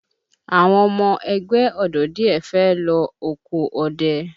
Àwọn ọmọ ẹgbẹ́ ọ̀dọ́ díẹ̀ fẹ́ lọ oko ọdẹ